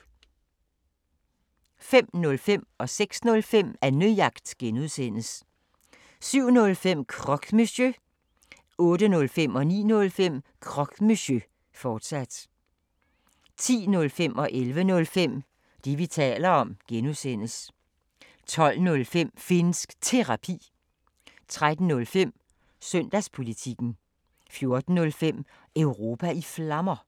05:05: Annejagt (G) 06:05: Annejagt (G) 07:05: Croque Monsieur 08:05: Croque Monsieur, fortsat 09:05: Croque Monsieur, fortsat 10:05: Det, vi taler om (G) 11:05: Det, vi taler om (G) 12:05: Finnsk Terapi 13:05: Søndagspolitikken 14:05: Europa i Flammer